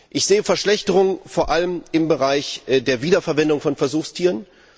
Ich sehe Verschlechterungen vor allem im Bereich der Wiederverwendung von Versuchstieren.